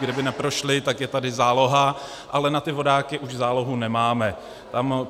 Kdyby neprošli, tak je tady záloha, ale na ty vodáky už zálohu nemáme.